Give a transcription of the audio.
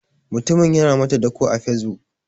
Mutumin yana mata dako a facebook.